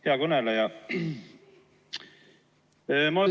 Hea kõneleja!